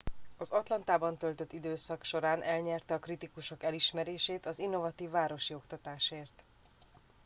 az atlantában töltött időszak során elnyerte a kritikusok elismerését az innovatív városi oktatásért